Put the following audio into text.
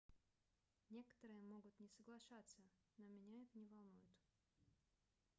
некоторые могут не соглашаться но меня это не волнует